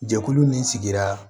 Jɛkulu min sigira